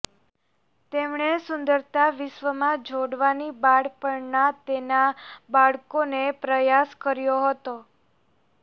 તેમણે સુંદરતા વિશ્વમાં જોડવાની બાળપણના તેના બાળકોને પ્રયાસ કર્યો હતો